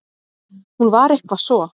Hún var eitthvað svo.